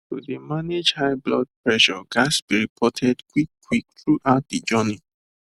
to dey manage high blood pressure ghats be reported quick quick throughout de journey